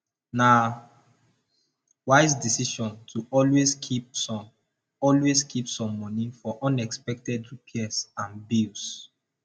na wise decision to always keep some always keep some money for unexpected repairs and bills